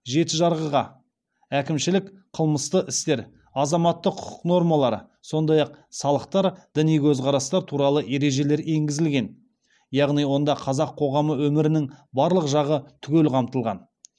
жеті жарғыға әкімшілік қылмысты істер азаматтық құқық нормалары сондай ақ салықтар діни көзқарастар туралы ережелер енгізілген яғни онда қазақ қоғамы өмірінің барлық жағы түгел қамтылған